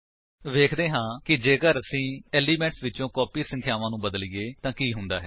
ਵੇਖਦੇ ਹਾਂ ਕਿ ਜੇਕਰ ਅਸੀ ਏਲਿਮੇਂਟਸ ਵਿਚੋ ਕਾਪੀ ਸੰਖਿਆਵਾਂ ਨੂੰ ਬਦਲੀਏ ਤਾਂ ਕੀ ਹੁੰਦਾ ਹੈ